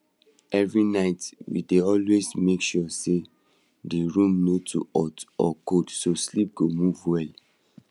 every night we dey always make sure say the room no too hot or cold so sleep go move well